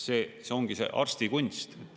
See ongi see arstikunst.